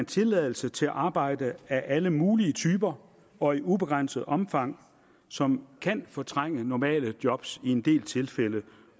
tilladelse til arbejde af alle mulige typer og i ubegrænset omfang som kan fortrænge normale job i en del tilfælde